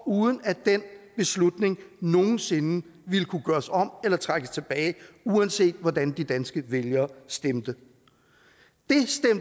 uden at den beslutning nogen sinde ville kunne gøres om eller trækkes tilbage uanset hvordan de danske vælgere stemte